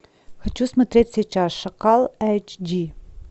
хочу смотреть сейчас шакал эйч ди